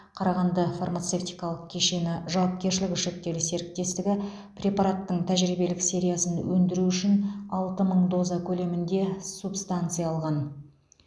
қарағанды фармацевтикалық кешені жауапкершілігі шектеулі серіктестігі препараттың тәжірибелік сериясын өндіру үшін алты мың доза көлемінде субстанция алған